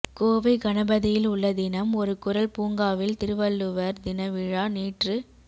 கோவை கணபதியில் உள்ள தினம் ஒரு குறள் பூங்காவில் திருவள்ளுவர் தின விழா நேற்று